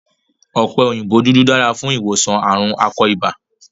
Ọ̀pẹ òyìnbó dúdú dára fún ìwòsàn ààrùn akọ ibà.